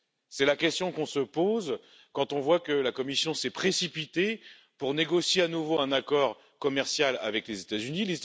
C'est la question qu'on se pose quand on voit que la Commission s'est précipitée pour négocier à nouveau un accord commercial avec les États Unis.